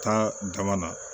Tan dama na